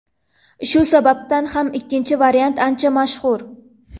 Shu sababdan ham ikkinchi variant ancha mashhur.